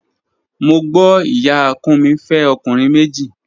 Mo gbo iya Kunmi fe okunrin meji.